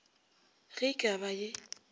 ge e ka ba ye